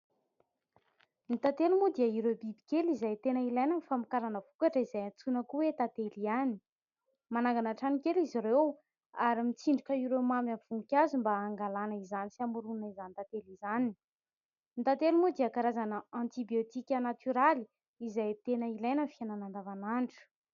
Ny tantely mo dia ireo bibikely izay tena ilaina amin'ny famokarana vokatra, izay antsoina koa hoe:"Tantely" hiany. Manangana trano kely izy ireo; ary mitsindroka ireo mamy amin'ireo voninkazo, mba angalana izany sy hamoronana izany tantely izany. Ny tantely mo dia karazana antibiotika natoraly, izay tena ilaina amin'ny fiainana andavan'andro.